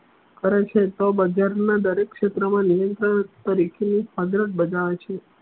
કરે છ એ તો બજાર ના દરેક ક્ષેત્ર મા નિયંત્રણ તરીકે નું બતાવે છે